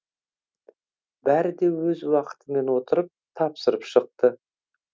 бәрі де өз уақытымен отырып тапсырып шықты